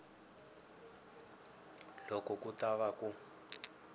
loko ku ta va ku